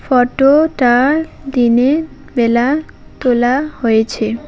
ফটোটা দিনে বেলা তোলা হয়েছে।